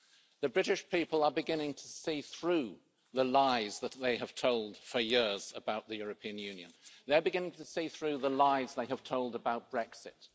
The British people are beginning to see through the lies that they have told for years about the European Union. They're beginning to see through the lies they have told about Brexit.